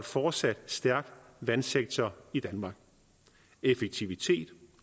fortsat stærk vandsektor i danmark effektivitet